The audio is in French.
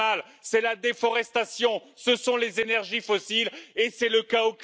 Que fait la Commission? Que faites-vous, Monsieur Juncker?